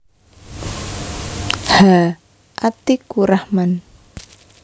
H Atikurahman